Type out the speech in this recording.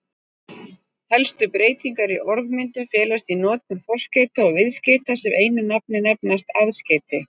Helstu breytingar í orðmyndun felast í notkun forskeyta og viðskeyta sem einu nafni nefnast aðskeyti.